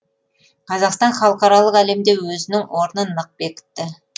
қазақстан халықаралық әлемде өзінің орнын нық бекітті